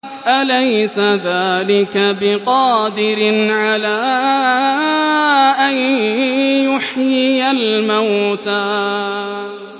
أَلَيْسَ ذَٰلِكَ بِقَادِرٍ عَلَىٰ أَن يُحْيِيَ الْمَوْتَىٰ